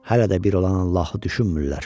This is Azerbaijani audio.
Hələ də bir olan Allahı düşünmürlər.